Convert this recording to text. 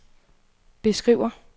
beskriver